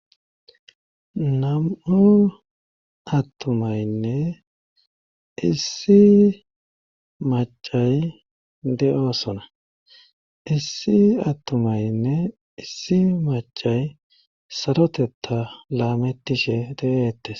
Nam'u attumaynne issi macay de'osona issi attumaynne issi macay sarotetta laamettishe de'eettes